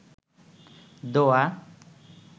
দোয়া